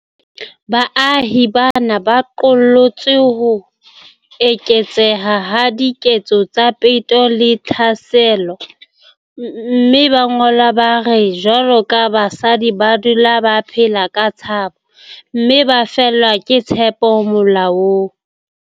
Baahi bana ba qollotse ho eketseha ha diketso tsa peto le ditlhaselo, mme ba ngola ba re jwaloka basadi ba dula ba phela ka tshabo, mme ba fellwa ke tshepo molaong.